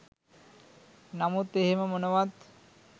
නමුත් එහෙම මොනවත්